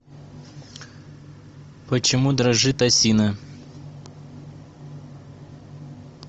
почему дрожит осина